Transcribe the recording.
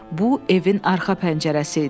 Bu evin arxa pəncərəsi idi.